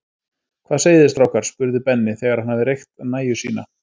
Hvað segið þið strákar? spurði Benni, þegar hann hafði reykt nægju sína.